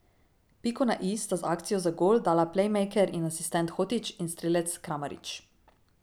Piko na i sta z akcijo za gol dala plejmejker in asistent Hotić ter strelec Kramarić.